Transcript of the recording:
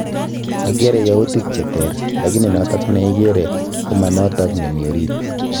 Agere yautik che teer, lakini noto neigere ko manoto nemi orit